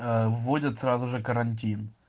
вводят сразу же карантин